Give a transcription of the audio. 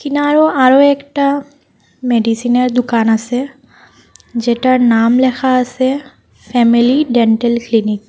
ইনারো আরও একটা মেডিসিনের দুকান আসে যেটার নাম লেখা আসে ফ্যামিলি ডেন্টাল ক্লিনিক ।